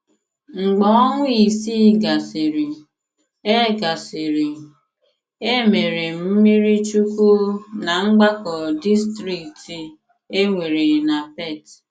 Mgbe ọnwa isii gasịrị, e gasịrị, e mere m mmiri chukwu ná mgbakọ distrikti e nwere na Perth.